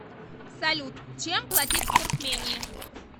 салют чем платить в туркмении